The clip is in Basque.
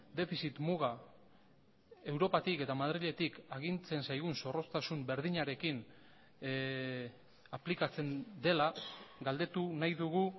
defizit muga europatik eta madriletik agintzen zaigun zorroztasun berdinarekin aplikatzen dela galdetu nahi dugu